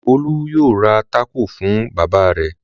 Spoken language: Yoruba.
Olú yóò ra tákò fún bàbá rẹ̀!